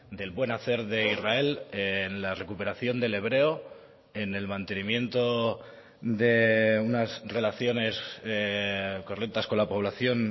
del buen hacer de israel en la recuperación del hebreo en el mantenimiento de unas relaciones correctas con la población